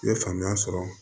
I ye faamuya sɔrɔ